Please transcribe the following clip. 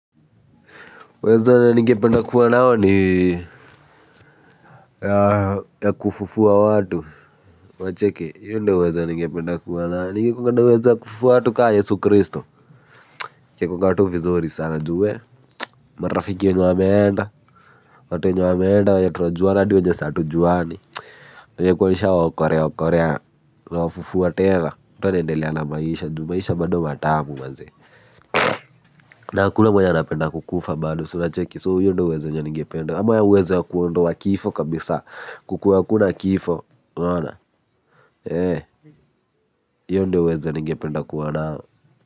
Uwezo ningependa kuwa nao ni ya kufufua watu unacheki hiyo ndiyo uwezo ningependa kuwa nayo ningekuanga na uwezo ya kufufua watu kaa Yesu Christo ingekuanga tu vizuri sana juu wee. Marafiki wenye wameenda watu wenye wameenda wenye tunajuana hadi wenye hatujuani ningekuwa nishawaokolea okolea kuwafufua tena mtu anaendelea na maisha juu maisha bado matamu manze na hakuna mwenya anapenda kukufa bado si unacheki so hiyo ndiyo uwezo yenye ningependa ama uwezo ya kuondoa kifo kabisa kukuwe hakuna kifo unaona hiyo ndiyo uwezo ningependa kuwa nayo.